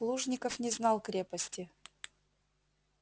плужников не знал крепости